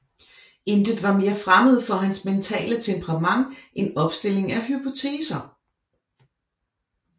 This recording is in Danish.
Intet var mere fremmed for hans mentale temperament end opstilling af hypoteser